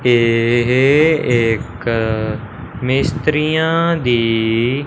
यह एक मिस्त्रिया दी--